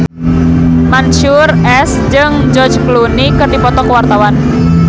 Mansyur S jeung George Clooney keur dipoto ku wartawan